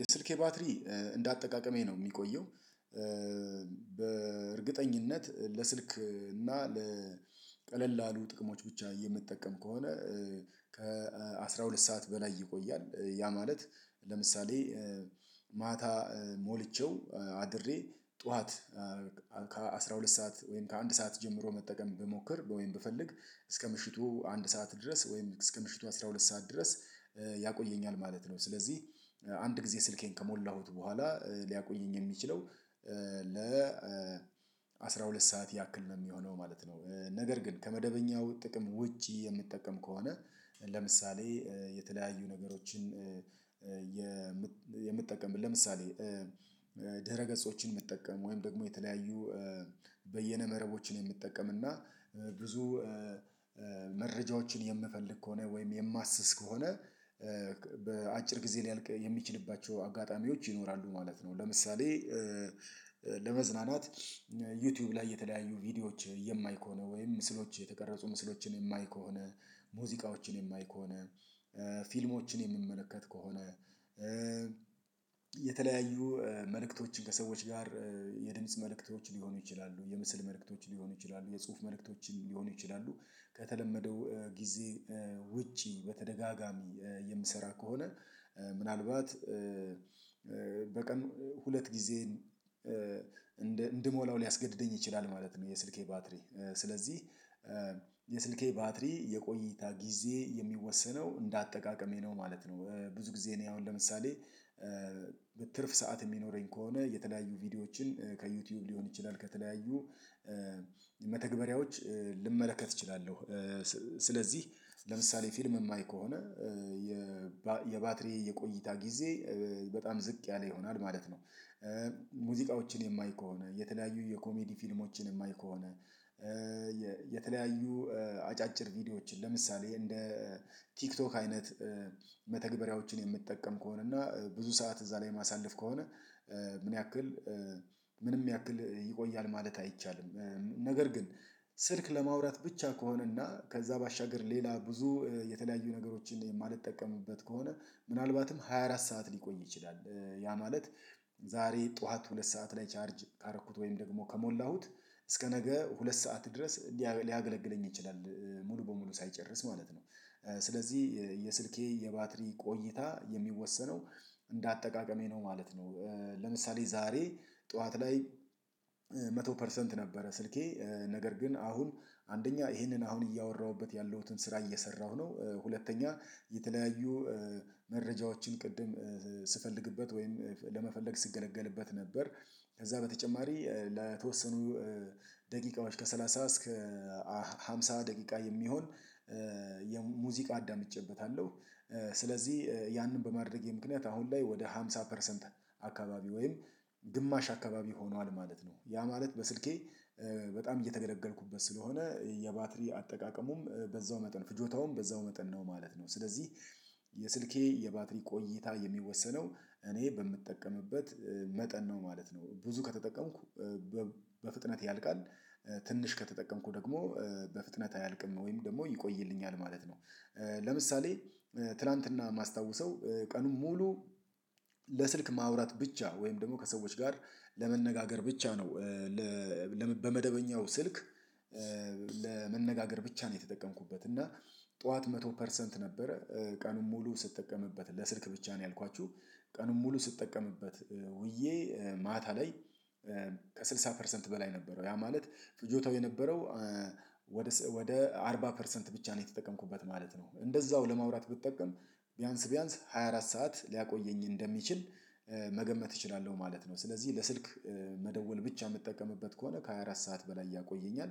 የስልኬ ባትሪ እንደ አጠቃቀሜ ነው የሚቆየው በእርግጠኝነት ለስልክ እና ለቀለላሉ ጥቅሞች ብቻ የምትጠቀም ከሆነ ከአሥራ ሁለት ሰዓት በላይ ይቆያል ያ ማለት ለምሳሌ ማታ ሞልቼው አድሬ ጠዋት ከአሥራ ሁለት ሰዓት ወይም ከአንድ ሰዓት ጀምሮ መጠቀም ብሞክር ወይም ብፈልግ እስከ ምሽቱ አንድ ሰዓት ድረስ ወይም እስከ ምሽቱ አስራ ሁለት ሰዓት ድረስ ያቆየኛል ማለት ነው ስለዚህ አንድ ጊዜ ስልኬን ከሞላሁት በኋላ ሊያቆየኝ የሚችለው ለ አስራ ሁለት ሰዓት ያክል ነው የሚሆነው ማለት ነው። ነገር ግን ከመደበኛው ጥቅም ውጪ የምትጠቀም ከሆነ ለምሳሌ የተለያዩ ነገሮችን የምትጠቀምበት ለምሳሌ ድህረ ገጾችን የሚጠቀም ወይም ደግሞ የተለያዩ በየነ መረቦችን የሚጠቀም እና ብዙ መረጃዎችን የምፈልግ ከሆነ ወይም የማስስ ከሆነ በአጭር ጊዜ ሊያልቅ የሚችልባቸው አጋጣሚዎች ይኖራሉ ማለት ነው ለምሳሌ ለመዝናናት ዩቲዩብ ላይ የተለያዩ ቪዲዮዎች የማይ ከሆነ ወይም ምስሎች የተቀረጹ ምስሎችን የማይ ከሆነ ፥ሙዚቃዎችን የማይ ከሆነ ፥ፊልሞች የምንመለከት ከሆነ የተለያዩ መልእክቶችን ከሰዎች ጋር የድምጽ መልእክቶች ሊሆኑ ይችላሉ የምስል መልእክቶች ሊሆኑ ይችላሉ የጽሁፍ መልእክቶችን ሊሆኑ ይችላሉ ከተለመደው ጊዜ ውጪ በተደጋጋሚ የምሰራ ከሆነ ምናልባት በቀን ሁለት ጊዜ እንድሞላው ሊያስገድደኝ ይችላል ማለት ነው የስልኬ ባትሪ ስለዚህ የስልኬ ባትሪ የቆይታ ጊዜ የሚወሰነው እንደ አጠቃቀሜ ነው ማለት ነው ብዙ ጊዜ እኔ አሁን ለምሳሌ በትርፍ ሰዓት የሚኖረኝ ከሆነ የተለያዩ ቪዲዮዎችን ከዩቲዩብ ሊሆን ይችላል ከተለያዩ መተግበሪያዎች ልመለከት እችላለሁ ስለዚህ ለምሳሌ ፊልም የማይ ከሆነ የባትሪ የቆይታ ጊዜ በጣም ዝቅ ያለ ይሆናል ማለት ነው። ሙዚቃዎችን የማይ ከሆነ፥ የተለያዩ የኮሜዲ ፊልሞችን የማይ ከሆነ፥ የተለያዩ አጫጭር ቪዲዮዎችን ለምሳሌ እንደ ቲክቶክ አይነት መተግበሪያዎችን የምትጠቀም ከሆነ እና ብዙ ሰዓት እዛ ላይ ማሳለፍ ከሆነ ምን ያክል ምንም ያክል ይቆያል ማለት አይቻልም ነገር ግን ስልክ ለማውራት ብቻ ከሆነና ከዛ ባሻገር ሌላ ብዙ የተለያዩ ነገሮችን የማልጠቀምበት ከሆነ ምናልባትም ሃያ አራት ሰዓት ሊቆይ ይችላል ያ ማለት ዛሬ ጠዋት ሁለት ሰዓት ላይ ቻርጅ ካረኩት ወይም ደግሞ ከሞላሁት እስከ ነገ ሁለት ሰዓት ድረስ ሊያገለግለኝ ይችላል ሙሉ በሙሉ ሳይጨርስ ማለት ነው። ስለዚህ የስልኬ የባትሪ ቆይታ የሚወሰነው እንደ አጠቃቀሜ ነው ማለት ነው። ለምሳሌ ዛሬ ጠዋት ላይ መቶ ፐርሰንት ነበረ ስልኬ ነገር ግን አሁን አንደኛ ይሄንን አሁን እያወራሁበት ያለሁትን ስራ እየሰራሁ ነው ሁለተኛ የተለያዩ መረጃዎችን ቅድም ስፈልግበት ወይም ለመፈለግ ስትገለገልበት ነበር። ከዛ በተጨማሪ ለተወሰኑ ደቂቃዎች ከሠላሳ እስከ አምሳ ደቂቃ የሚሆን የሙዚቃ አዳምጬበታለሁ ስለዚህ ያንን በማድረጌ ምክንያት አሁን ላይ ወደ ሃምሳ ፐርሰንት አካባቢ ወይም ግማሽ አካባቢ ሆኗል ማለት ነው ያ ማለት በስልኬ በጣም እየተገለገልኩበት ስለሆነ የባትሪ አጠቃቀሙም በዛው መጠን ፍጆታውም በዛው መጠን ነው ማለት ነው ስለዚህ የስልኬ የባትሪ ቆይታ የሚወሰነው እኔ በምጠቀምበት መጠን ነው ማለት ነው። ብዙ ከተጠቀምኩ በፍጥነት ያልቃል ትንሽ ከተጠቀምኩ ደግሞ በፍጥነት አያልቅም ወይም ደግሞ ይቆይልኛል ማለት ነው። ለምሳሌ ትላንትና የማስታውሰው ቀኑን ሙሉ ለስልክ ማውራት ብቻ ወይም ደግሞ ከሰዎች ጋር ለመነጋገር ብቻ ነው በመደበኛው ስልክ ለመነጋገር ብቻ ነው የተጠቀምኩበት እና ጠዋት መቶ ፐርሰንት ነበረ ቀኑን ሙሉ ስትጠቀምበት ለስልክ ብቻ ነው ያልኳችሁ ቀኑን ሙሉ ስትጠቀምበት ውዬ ማታ ላይ ከስድሳ ፐርሰንት በላይ ነበረው ያ ማለት ፍጆታው የነበረው ወደ አርባ ፐርሰንት ብቻ ነው የተጠቀምኩበት ማለት ነው እንደዛው ለማውራት ብትጠቀም ቢያንስ ቢያንስ ሃያ አራት ሰዓት ሊያቆየኝ እንደሚችል መገመት እችላለሁ ማለት ነው ስለዚህ ለስልክ መደወል ብቻ የምትጠቀምበት ከሆነ ከሃያ አራት ሰዓት በላይ ያቆየኛል